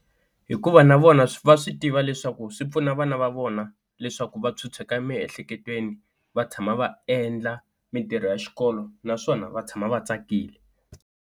Hikuva na vona va swi tiva leswaku swi pfuna vana va vona leswaku va phyuphyeka emiehleketweni va tshama va endla mintirho ya xikolo naswona va tshama va tsakile.